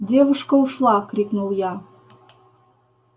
девушка ушла крикнул я